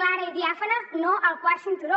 clara i diàfana no al quart cinturó